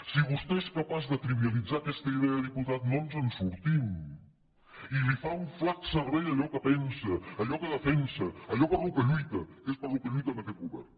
si vostè és capaç de trivialitzar aquesta idea diputat no ens en sortim i li fa un flac servei a allò que pensa allò que defensa allò per què lluita que és pel que lluita aquest govern